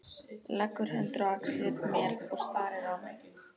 Leggur hendur á axlir mér og starir á mig.